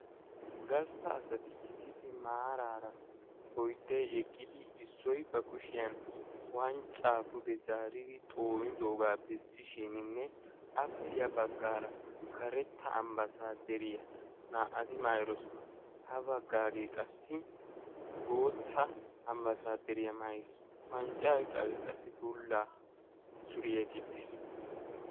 Oyddu asati maarara eqqidi issoy ba kushshiyaan wanccaa pude zaaridi zoonidoogaa bessishininne appe ya baggaara karetta ambbaasaderiyaa naa"ati maayidosona. ha baggagee qassi bootta ambbaasaderiyaa maayiis. wanccaa oyqqaagee qassi bulla suriyaa gixxiis.